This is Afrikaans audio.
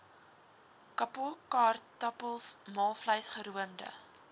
kapokaartappels maalvleis geroomde